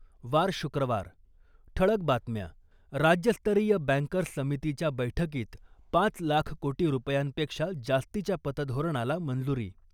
वार शुक्रवार, ठळक बातम्या राज्यस्तरीय बँकर्स समितीच्या बैठकीत पाच लाख कोटी रुपयां पेक्षा जास्तीच्या पतधोरणाला मंजुरी .